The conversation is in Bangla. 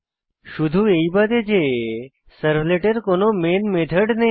শুধু এই বাদে যে সার্ভলেটের কোনো মেন মেথড নেই